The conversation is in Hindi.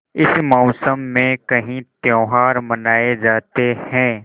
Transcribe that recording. इस मौसम में कई त्यौहार मनाये जाते हैं